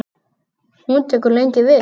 Hún tekur lengi við.